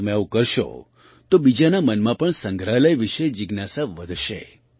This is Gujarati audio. તમે આવું કરશો તો બીજાના મનમાં પણ સંગ્રહાલય વિશે જિજ્ઞાસા વધશે